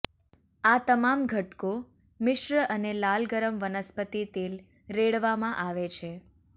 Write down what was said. આ તમામ ઘટકો મિશ્ર અને લાલ ગરમ વનસ્પતિ તેલ રેડવામાં આવે છે